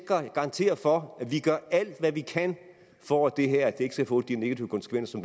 garantere for at vi gør alt hvad vi kan for at det her ikke skal få de negative konsekvenser